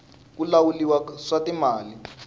ku lahuliwa swa timali